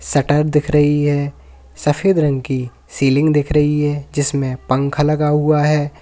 Shutter दिख रही है सफेद रंग की सीलिंग दिख रही है जिसमें पंखा लगा हुआ है।